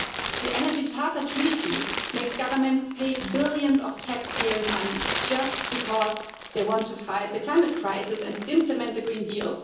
The Energy Charter Treaty makes governments pay billions of taxpayers' money just because they want to fight the climate crisis and implement the Green Deal.